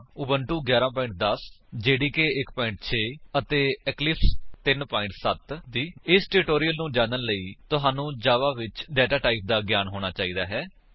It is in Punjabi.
ਉਬੰਟੁ 11 10 ਜੇਡੀਕੇ 1 6ਅਤੇ ਇਕਲਿਪਸ 3 7 ਇਸ ਟਿਊਟੋਰਿਅਲ ਨੂੰ ਜਾਨਣ ਲਈ ਤੁਹਾਨੂੰ ਜਾਵਾ ਵਿੱਚ ਡੇਟਾ ਟਾਈਪ ਦਾ ਗਿਆਨ ਹੋਣਾ ਚਾਹੀਦਾ ਹੈ